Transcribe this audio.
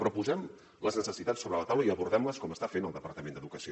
però posem les necessitats sobre la taula i abordem les com està fent el departament d’educació